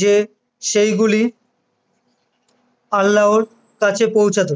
যে সেগুলি আল্লাহর কাছে পৌছাতো